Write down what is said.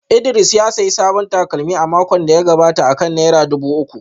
Idris ya sayi sabon takalmi a makon da ya gabata akan naira dubu uku